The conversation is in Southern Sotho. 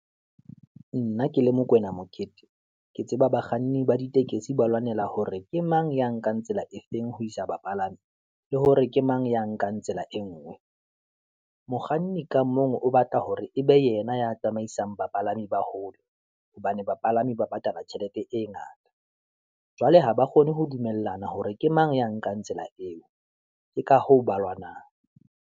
Nna ke le Mokoena Mokete, ke tseba bakganni ba ditekesi ba lwanela hore ke mang ya nkang tsela e feng ho isa bapalami, le hore ke mang ya nkang tsela e ngwe, mokganni ka mong o batla hore ebe yena ya tsamaisang bapalami ba hole, hobane bapalami ba patala tjhelete e ngata. Jwale ha ba kgone ho dumellana hore ke mang ya nkang tsela eo, ke ka hoo ba lwanang.